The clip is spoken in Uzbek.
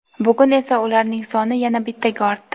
bugun esa ularning soni yana bittaga ortdi.